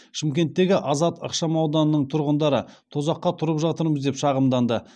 шымкенттегі азат ықшамауданының тұрғындары тозаққа тұрып жатырмыз деп шағымданды